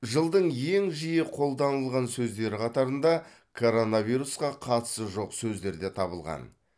жылдың ең жиі қолданылған сөздері қатарында коронавирусқа қатысы жоқ сөздер де табылған